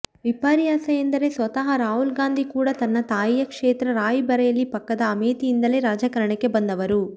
ವಿಪರ್ಯಾಸ ಎಂದರೆ ಸ್ವತಃ ರಾಹುಲ್ ಗಾಂಧಿ ಕೂಡ ತನ್ನ ತಾಯಿಯ ಕ್ಷೇತ್ರ ರಾಯ್ ಬರೇಲಿ ಪಕ್ಕದ ಅಮೇಥಿಯಿಂದಲೇ ರಾಜಕಾರಣಕ್ಕೆ ಬಂದವರು